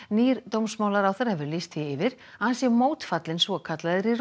nýr dómsmálaráðherra hefur lýst því yfir að hann sé mótfallinn svokallaðri